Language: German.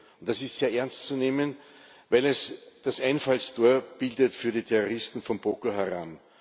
und das ist sehr ernst zu nehmen, weil es das Einfallstor bildet für die Terroristen von Boko Haram.